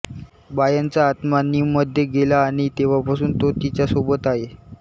बायनचा आत्मा निममध्ये गेला आणि तेव्हापासून तो तिच्यासोबत आहे